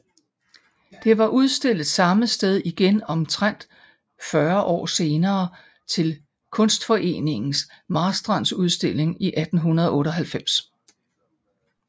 Det var udstillet samme sted igen omtrent 40 år senere til Kunstforeningens Marstrandudstilling i 1898